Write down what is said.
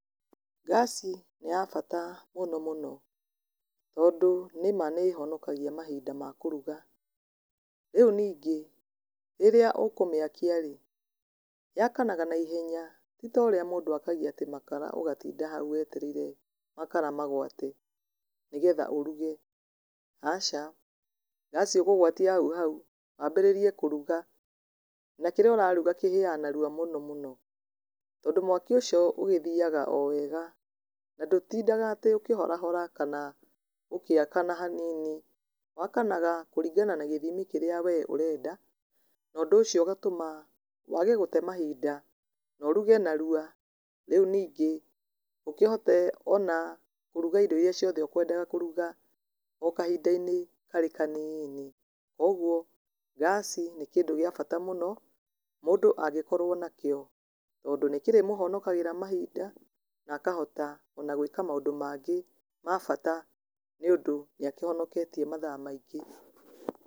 Ngaci nĩ ya bata mũno mũno, tondũ nĩma nĩ ĩhonokagia mahinda ma kũruga, rĩu ningĩ, rĩrĩa ũkũmĩakia rĩ, yakanaga na ihenya titorĩa mũndũ akagia atĩ makara ũgatinda hau wetereire makara magwate nĩ getha ũruge, aca, ngaci ũkũgwatia hau hau, wambĩrĩrie kũruga, na kĩrĩa ũraruga kĩhĩyaga narua mũno mũno, tondũ mwaki ũcio ũgĩthiaga o wega, na ndũtindaga atĩ ũkĩhorahora kana ũgĩakana hanini, wakanaga kũringana na gĩthimi kĩrĩa we ũrenda, na ũndũ ũcio ũgatũma wage gũte mahinda, na ũruge narwa, rĩu ningĩ, ũkĩhote ona kũruga indo iria ciothe ũkwendaga kũruga, o kahinda-inĩ karĩ kanini, koguo ngaci nĩ kĩndũ gĩa bata mũno, mũndũ angĩkorwo nakĩo, tondũ nĩ kĩrĩmũhonokagĩra mahinda, na akohota ona gwĩka maũndũ mangĩ ma bata nĩ ũndũ nĩ akĩhonoketie mathaa maingĩ.